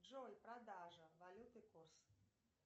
джой продажа валюты курс